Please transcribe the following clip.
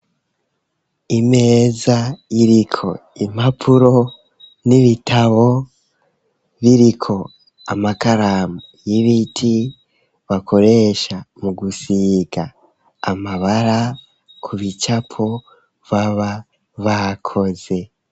Imeza yiriko impapuro n'ibitabo biriko amakaramu y'ibiti bakoresha mu gusiga amabara ku bicapo baba bakoze.